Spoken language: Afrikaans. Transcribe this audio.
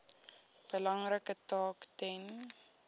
belangrike taak ten